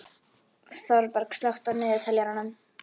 Þorberg, slökktu á niðurteljaranum.